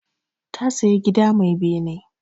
Ta saya gida mai bene.